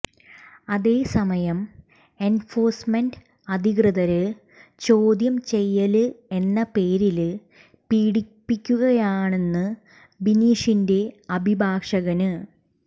അതേസമയം എന്ഫോഴ്സ്മെന്റ് അധികൃതര് ചോദ്യം ചെയ്യല് എന്ന പേരില് പീഡിപ്പിക്കുകയാണെന്ന് ബിനീഷിന്റെ അഭിഭാഷകന്